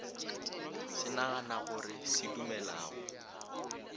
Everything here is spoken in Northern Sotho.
se naganago re se dumelago